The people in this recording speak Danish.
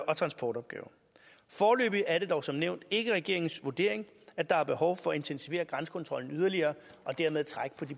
og transportopgaver foreløbig er det dog som nævnt ikke regeringens vurdering at der er behov for at intensivere grænsekontrollen yderligere og dermed trække